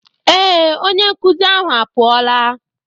Ee, onye nkụzi ahụ apụọla